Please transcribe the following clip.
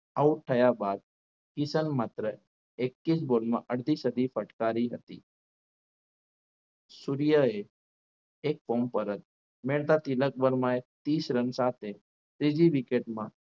Out થયા બાદ કિશોરને માત્ર એકવીસ ball માં અડધી સદી ફટકારી હતી સૂર્ય એ એક કોમ પર જ મહેતા તિલક વર્માએ ત્રીસ રન સાથે ત્રીજી wicket માં